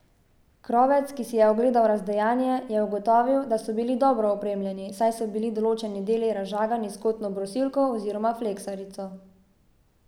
Krovec, ki si je ogledal razdejanje, je ugotovil, da so bili dobro opremljeni, saj so bili določeni deli razžagani s kotno brusilko oziroma fleksarico.